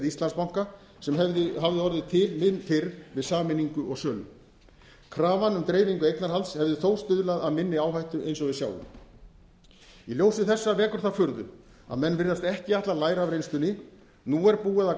íslandsbanka sem hafði orðið til mun fyrr við sameiningu og sölu krafan um dreifingu eignarhalds hefði þó stuðlað að minni áhættu eins og við sjáum í ljósi þessa vekur það furðu að menn virðast ekki ætla að læra af reynslunni nú er búið að